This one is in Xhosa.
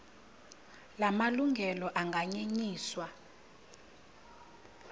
la malungelo anganyenyiswa